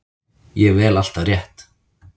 Ég vel alltaf rétt.